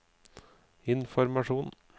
informasjon